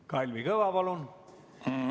Kalvi Kõva, palun!